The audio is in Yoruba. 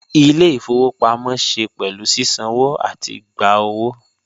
Ile-ifowopamọ ṣe pẹlu sisanwo ati gba owo